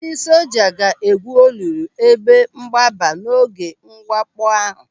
Ndị soja ga-egwú olulu ebe mgbaba n'oge mwakpo ahụ.